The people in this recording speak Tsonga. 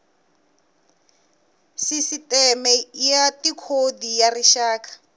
sisiteme ya tikhodi ya rixaka